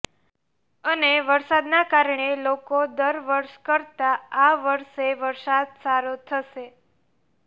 અને વરસાદના કારણે લોકો દર વર્ષ કરતા આ વર્ષે વરસાદ સારો થશે